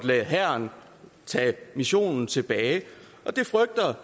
lade hæren tage missionen tilbage